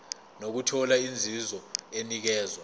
nokuthola inzuzo enikezwa